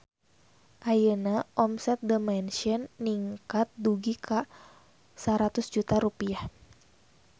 Ayeuna omset The Mansion ningkat dugi ka 100 juta rupiah